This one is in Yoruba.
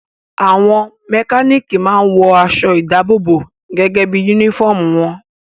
Àwọn mẹkánìkì máa n wọ aṣọ ìdábòbò gẹ́gẹ́ bí yúnífọ̀mù wọn